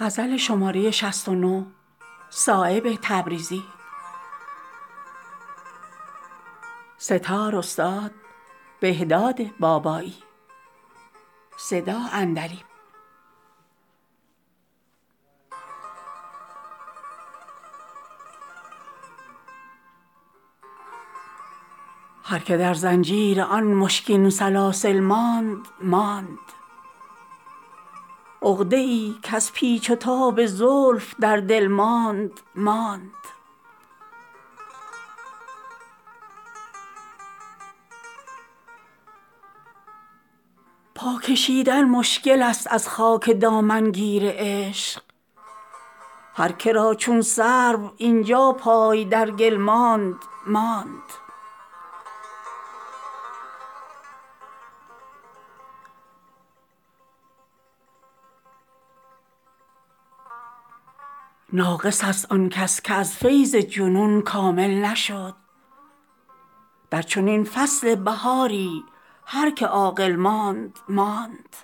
هر که در زنجیر آن مشکین سلاسل ماند ماند عقده ای کز پیچ و تاب زلف در دل ماندماند پا کشیدن مشکل است از خاک دامنگیر عشق هر که را چون سرو اینجا پای در گل ماندماند ناقص است آن کس که از فیض جنون کامل نشد در چنین فصل بهاری هر که عاقل ماندماند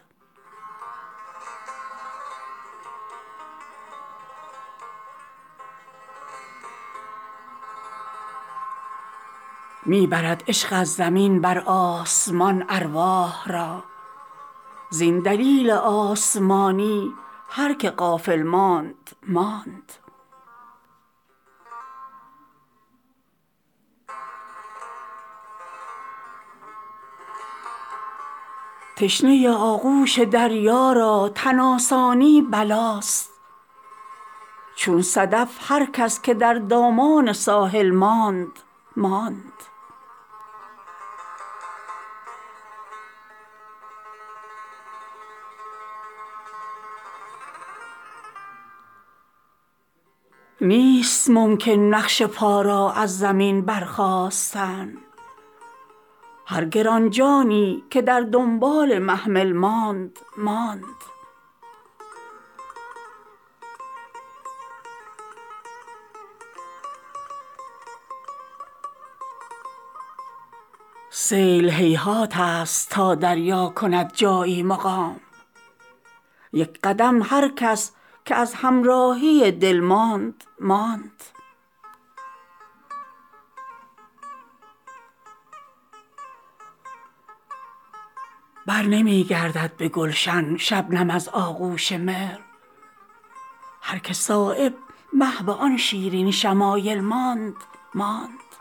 سیل هیهات است تا دریا کند جایی مقام یک قدم هر کس که از همراهی دل ماندماند چشم قربانی نگرداند ورق تا روز حشر دیده هر کس که در دنبال قاتل ماندماند می برد عشق از زمین بر آسمان ارواح را زین دلیل آسمانی هر که غافل ماندماند تشنه آغوش دریا را تن آسانی بلاست چون صدف هر کس که در دامان ساحل ماندماند نیست ممکن نقش پا را از زمین برخاستن هر گرانجانی که در دنبال محمل ماندماند می شود هر دم عجبتر نقش روزافزون حسن هر که را از حیرت اینجا دست بر دل ماندماند فرصتی تا هست بیرون آی از زندان جسم در بهاران تخم بیدردی که در گل ماندماند بی سرانجامی است خضر راه بی پایان عشق هر که در فکر سر و سامان منزل ماندماند هر دلی کز بیم آشتهای بی زنهار عشق چون سپند خام در بیرون محفل ماندماند راه پیمایی نگردد جمع با آسودگی هر که را دامن ته دیوار منزل ماندماند برنمی گردد به گلشن شبنم از آغوش مهر هر که صایب محو آن شیرین شمایل ماندماند